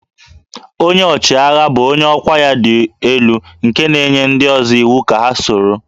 Onye ọchịagha bụ onye ọkwá ya dị elu nke na-enye ndị ọzọ iwu ka ha soro